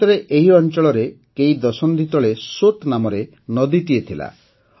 ପ୍ରକୃତରେ ଏହି ଅଞ୍ଚଳରେ କେଇ ଦଶନ୍ଧି ତଳେ ସୋତ୍ ନାମକ ନଦୀଟିଏ ଥିଲା